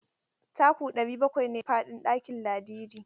Taku ɗari bakwai ne faɗin ɗakin Ladidi.